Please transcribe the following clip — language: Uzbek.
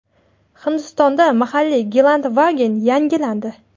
Hindistonda mahalliy Gelandewagen yangilandi.